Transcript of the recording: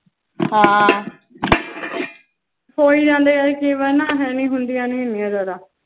ਹੋ ਹੀ ਜਾਂਦੀਆਂ ਨੇ ਕਈ ਵਾਰੀ ਹੁੰਦੀਆਂ ਨੀ ਐਨੀਆਂ ਜਾਂਦਾ